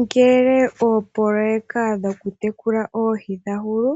Ngele oopoloeka dhokutekula oohi dha hulu,